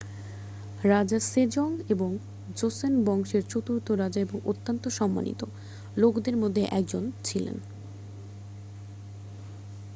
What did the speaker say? রাজা Sejong Joseon বংশের চতুর্থ রাজা এবং অত্যন্ত সম্মানিত লোকদের মধ্যে একজন ছিলেন